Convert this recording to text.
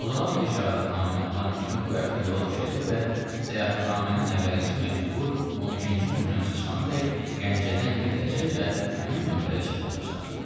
Mozalan bəy şəhadətnaməni alan kimi bu həftə yola düşəcək və səyahətnamənin əvvəlinci məktubu 12-ci nömrəmiz çıxanadək Gəncədən gələcək və həmin nömrədə çap olunacaq.